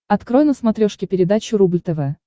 открой на смотрешке передачу рубль тв